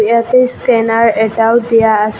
ইয়াতে স্কেনাৰ এটাও দিয়া আছে।